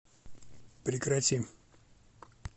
прекрати